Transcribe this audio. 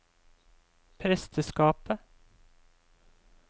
presteskapet